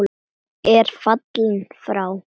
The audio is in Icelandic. er fallinn frá.